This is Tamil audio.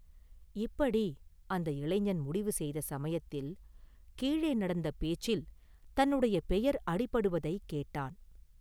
இப்படி அந்த இளைஞன் முடிவு செய்த சமயத்தில், கீழே நடந்த பேச்சில் தன்னுடைய பெயர் அடிபடுவதைக் கேட்டான்.